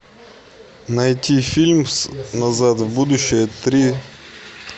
найти фильм назад в будущее три